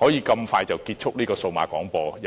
這樣快便結束數碼廣播？